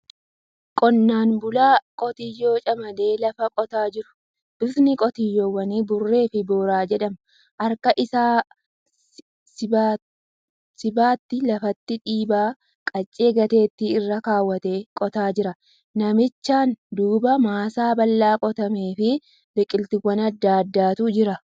Qonnaan bulaa qitiyyoo camadee lafa qotaa jiru. Bifti qotyyoowwanii burree fi boora jedhama. Harka lamaan sibattii lafatti dhiibaa qancee gateetti irra kaawwatee qotaa jira. Namichaan duuba maasaa bal'aa qotamee fi biqiltuuwwan adda addaatu jira.